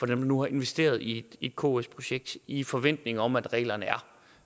der nu har investeret i et ks projekt i forventning om at reglerne